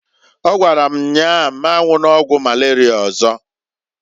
Ọ gwara m nnyaa m anwụna ọgwụ malaria ọzọ.